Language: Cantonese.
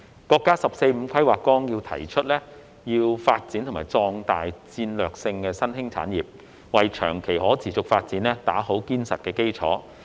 國家《十四五規劃綱要》提出要發展和壯大戰略性新興產業，為長期可持續發展打好堅實的基礎。